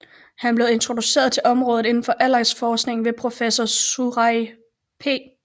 Han blev introduceret til området inden for aldringsforskning ved professor Suraj P